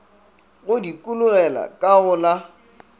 go dikologela ka go la